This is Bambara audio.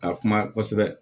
Ka kuma kosɛbɛ